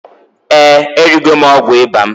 Eeǃ Erigo m ọgwụ ịba m.